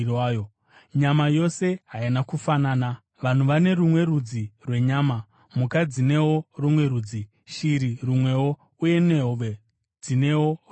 Nyama yose haina kufanana: Vanhu vane rumwe rudzi rwenyama, mhuka dzinewo rumwe rudzi, shiri rumwewo, uye nehove dzinewo rumwe.